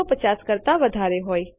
૧૫૦ કરતા વધારે હોય